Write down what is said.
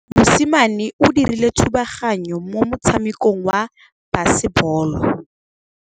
Mosimane o dirile thubaganyô mo motshamekong wa basebôlô.